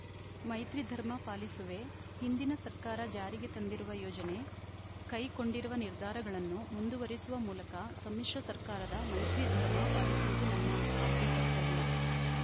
ಮೈತ್ರಿ ಧರ್ಮ ಪಾಲಿಸುವೆ ಹಿಂದಿನ ಸರ್ಕಾರ ಜಾರಿಗೆ ತಂದಿರುವ ಯೋಜನೆ ಕೈಕೊಂಡಿರುವ ನಿರ್ಧಾರಗಳನ್ನು ಮುಂದುವರೆಸುವ ಮೂಲಕ ಸಮ್ಮಿಶ್ರ ಸರ್ಕಾರದ ಮೈತ್ರಿ ಧರ್ಮ ಪಾಲಿಸುವುದು ನನ್ನ ಆದ್ಯ ಕರ್ತವ್ಯ